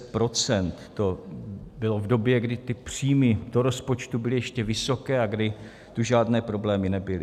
To bylo v době, kdy ty příjmy do rozpočtu byly ještě vysoké a kdy tu žádné problémy nebyly.